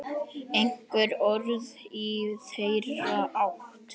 Einhver orð í þeirra átt?